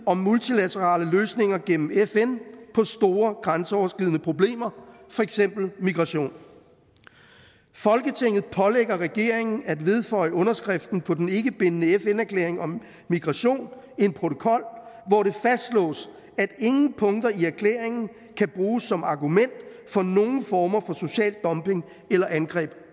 at multilaterale løsninger gennem fn på store grænseoverskridende problemer eksempelvis migration folketinget pålægger regeringen at vedføje underskriften på den ikkebindende fn erklæring om migration en protokol hvori fastslås at ingen punkter i erklæringen kan bruges som argument for nogen former for social dumping eller angreb